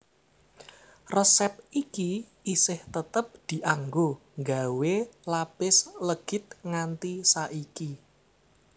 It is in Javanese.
Resép iki isih tetep dianggo nggawé lapis legit nganti saiki